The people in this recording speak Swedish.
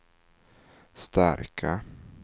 starka